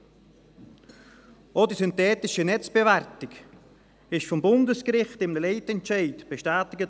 Auch wurde die synthetische Netzbewertung vom Bundesgericht in einem Leitentscheid bestätigt.